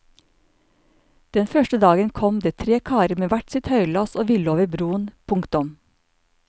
Den første dagen kom det tre karer med hver sitt høylass og ville over broen. punktum